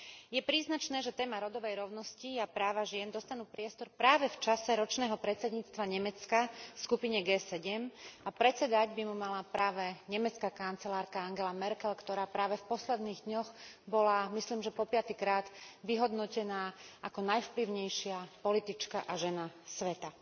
Je príznačné, že téma rodovej rovnosti a práva žien dostanú priestor práve v čase ročného predsedníctva Nemecka v skupine G7 a predsedať by mu mala práve nemecká kancelárka Angela Merkelová, ktorá práve v posledných dňoch bola, myslím, že po piatykrát vyhodnotená ako najvplyvnejšia politička a žena sveta.